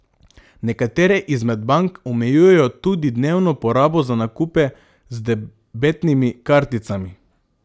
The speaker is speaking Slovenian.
Nekatere izmed bank omejujejo tudi dnevno porabo za nakupe z debetnimi karticami.